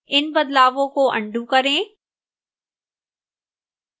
इन बदलावों को अन्डू करें